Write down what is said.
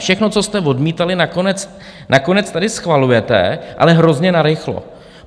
Všechno, co jste odmítali, nakonec tady schvalujete, ale hrozně narychlo.